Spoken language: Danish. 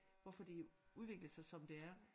Hvorfor det udviklede sig som det er